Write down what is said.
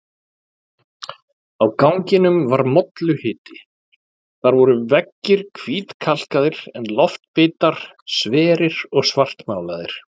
Á ganginum var molluhiti, þar voru veggir hvítkalkaðir en loftbitar sverir og svartmálaðir.